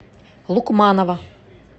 лукманова